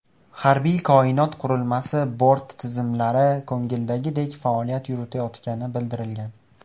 Harbiy koinot qurilmasi bort tizimlari ko‘ngildagidek faoliyat yuritayotgani bildirilgan.